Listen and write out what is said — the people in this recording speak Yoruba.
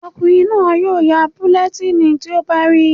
Ọkùnrin náà yóò ya bulẹtíìnì tí ó bá rí